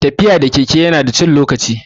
Tafiya da keke ya na da cin lokaci